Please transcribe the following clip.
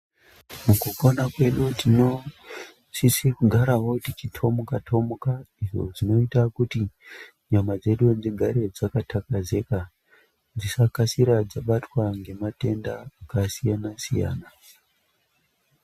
Mukupona kwedu tinosise kugarawo tichithomuka thomuka idzo dzinoita kuti nyama dzedu dzigare dzakathakazika dzikasira dzabatwa ngematenda akasiyana siyana.